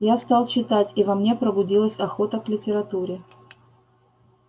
я стал читать и во мне пробудилась охота к литературе